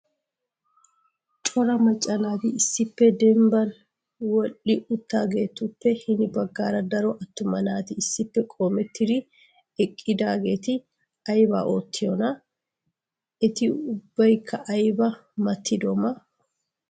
Cora macca naati issippe dembban wodhdhi uttidaageetuppe hini baggaara daro attuma naati issippe qoometidi eqqidaageeti aybba oottiyoona? Eti ubbaykka aybba maatidoma?